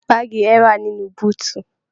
Baagi rẹ wà nínú búutú.